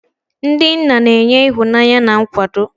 Ndị nna na-enye ịhụnanya na nkwado.